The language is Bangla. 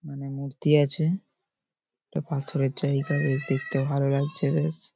মানে মূর্তি আছে। এটা পাথরের জায়গা বেশ দেখতে ভালো লাগছে বেশ ।